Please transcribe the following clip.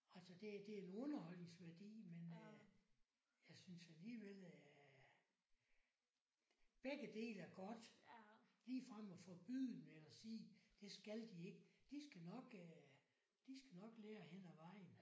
Altså det det en underholdningsværdi men jeg synes alligevel at begge dele er godt ligefrem og forbyde dem og sige det skal de ikke. De skal nok de skal nok lære hen ad vejen